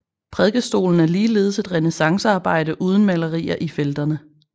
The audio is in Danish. Prædikestolen er ligeledes et renæssancearbejde uden malerier i felterne